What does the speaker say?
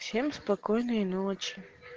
всем спокойной ночи